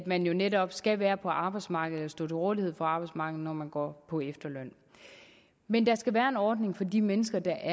man netop skal være på arbejdsmarkedet og stå til rådighed for arbejdsmarkedet når man går på efterløn men der skal være en ordning for de mennesker der